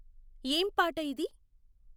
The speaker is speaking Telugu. ఏం పాట ఇది